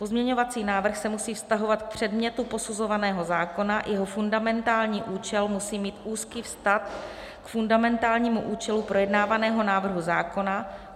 Pozměňovací návrh se musí vztahovat k předmětu posuzovaného zákona, jeho fundamentální účel musí mít úzký vztah k fundamentálnímu účelu projednávaného návrhu zákona.